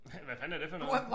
Hvad fanden er det for noget